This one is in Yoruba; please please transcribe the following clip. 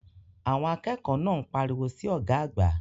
Àwọn akẹ́kọ̀ọ́ náà ń pariwo sí ọ̀gá àgbà.